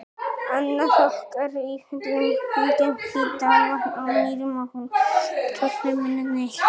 Annað Ok er í fjöllunum kringum Hítarvatn á Mýrum og raunar tvö fremur en eitt.